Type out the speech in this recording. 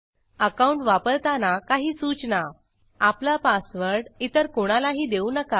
account वापरताना काही सूचना आपला पासवर्ड इतर कोणालाही देऊ नका